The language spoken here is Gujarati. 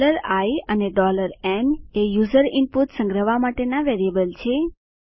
i અને n એ યુઝર ઈનપુટ સંગ્રહવા માટેના વેરિયેબલ છે